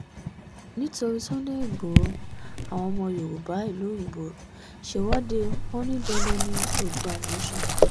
nítorí sunday igboro àwọn ọmọ yorùbá ìlú òyìnbó ṣèwọ́de wọn ní dandan ní oodua nation